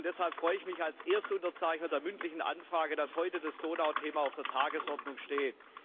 Deshalb freue ich mich als erster Unterzeichner der mündlichen Anfrage, dass heute das Thema Donau auf der Tagesordnung steht.